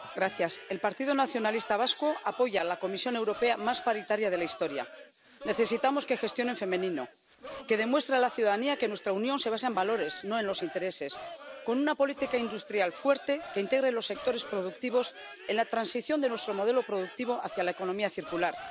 Señora presidenta, el Partido Nacionalista Vasco apoya a la Comisión Europea más paritaria de la historia. Necesitamos que gestione en femenino, que demuestre a la ciudadanía que nuestra Unión se basa en valores, no en los intereses, con una política industrial fuerte que integre los sectores productivos en la transición de nuestro modelo productivo hacia la economía circular.